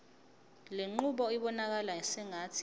lenqubo ibonakala sengathi